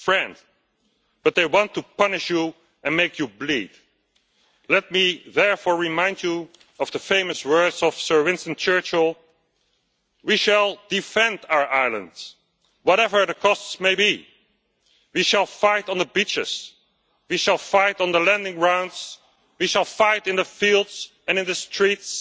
A friend, but they want to punish you and make you bleed. Let me therefore remind you of the famous words of Sir Winston Churchill we shall defend our island, whatever the cost may be, we shall fight on the beaches, we shall fight on the landing grounds, we shall fight in the fields and in the streets,